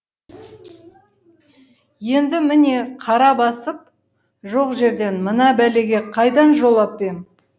енді міне қара басып жоқ жерден мына бәлеге қайдан жолап ем